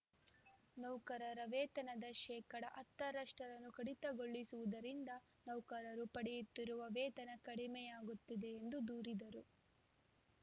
ನೌಕರರ ವೇತನದ ಶೇಕಡಾ ಹತ್ತ ರಷ್ಟನ್ನು ಕಡಿತಗೊಳಿಸುತ್ತಿರುವುದರಿಂದ ನೌಕರರು ಪಡೆಯುತ್ತಿರುವ ವೇತನ ಕಡಿಮೆಯಾಗುತ್ತಿದೆ ಎಂದು ದೂರಿದರು